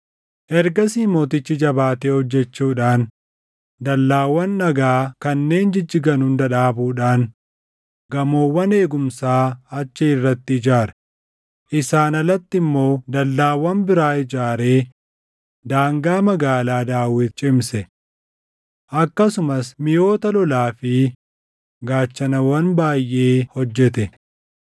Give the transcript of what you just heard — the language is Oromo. Ergasii mootichi jabaatee hojjechuudhaan dallaawwan dhagaa kanneen jijjigan hunda dhaabuudhaan gamoowwan eegumsaa achi irratti ijaare. Isaan alatti immoo dallaawwan biraa ijaaree daangaa Magaalaa Daawit cimse. Akkasumas miʼoota lolaa fi gaachanawwan baayʼee hojjete.